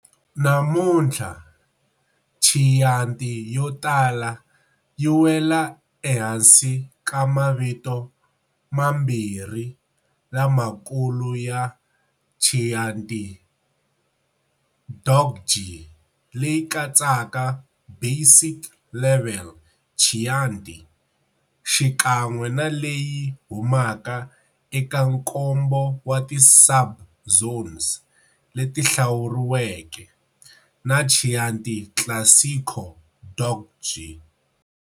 Namuntlha, Chianti yotala yiwela ehansi ka mavito mambirhi lamakulu ya Chianti DOCG, leyi katsaka basic level Chianti, xikan'we na leyi humaka eka nkombo wa ti subzones leti hlawuriweke, na Chianti Classico DOCG.